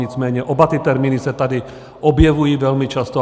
Nicméně oba ty termíny se tady objevují velmi často.